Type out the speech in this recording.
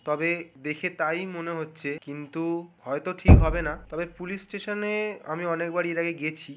তবে দেখে তাই মনে হচ্ছে কিন্তু হয়ত ঠিক হবে না। তবে পুলিশ স্টেশনে আমি অনেক বার এর আগে গেছি --